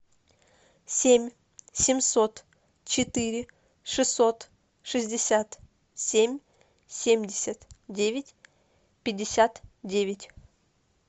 семь семьсот четыре шестьсот шестьдесят семь семьдесят девять пятьдесят девять